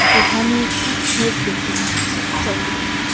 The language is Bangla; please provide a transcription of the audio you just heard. এখানে একটি কেক দেখতে পাচ্ছি চকলেট ।